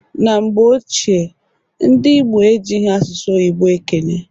Na mgbe ochie ndị Igbo ejighi asụsụ oyibo ekene.